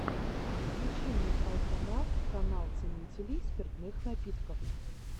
включи мне алкофан канал ценителей спиртных напитков